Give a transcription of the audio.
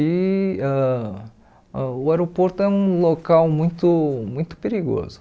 E ãh o aeroporto é um local muito muito perigoso.